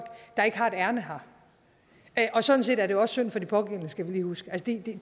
der ikke har et ærinde her og sådan set er det jo også synd for de pågældende skal vi lige huske